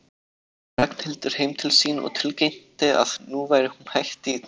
Ragnhildur heim til sín og tilkynnti að nú væri hún hætt í menntaskólanum.